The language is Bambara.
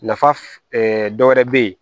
Nafa dɔ wɛrɛ bɛ yen